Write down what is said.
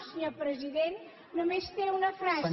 senyor president només té una frase